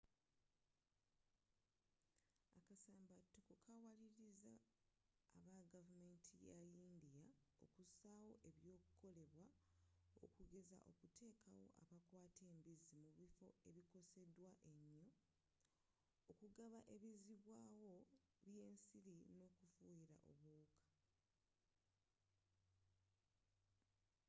akasambatuko kawaliriza abagavumenti yayindiya okusaawo ebyokolebwa okugeza okutekawo abakwata embizzi mu bifo ebikosedwa enyo okugaba ebizibwawo byensiri nokufuyira obuwuka